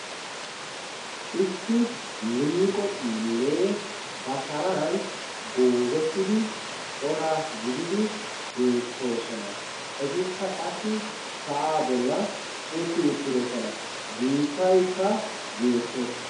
Issi liiqo xiillee ba sharan goozettidi cora gididi beettoosona etikka qassi sa'aa bollan utti uttirosona biittaikka beettees.